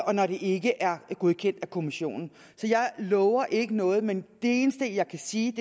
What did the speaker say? og når det ikke er godkendt af kommissionen så jeg lover ikke noget men det eneste jeg kan sige